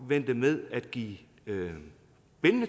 vente med at give bindende